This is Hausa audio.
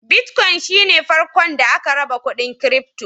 Bitcoin shi ne farkon da aka raba kuɗin kirifto.